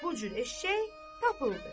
Bu cür eşşək tapıldı.